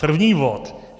První bod.